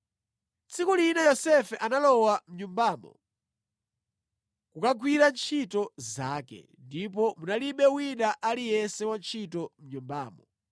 Tsiku lina Yosefe analowa mʼnyumbamo kukagwira ntchito zake, ndipo munalibe wina aliyense wantchito mʼnyumbamo.